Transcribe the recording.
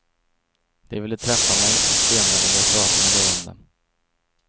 De ville träffa mig, och senare vill jag prata med dig om dem.